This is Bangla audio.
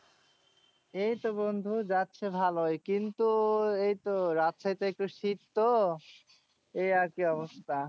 এই তো বন্ধু যাচ্ছে ভালোই, কিন্তু এই তো রাজশাহীতে একটু শীততো এই আরকি অবস্থা।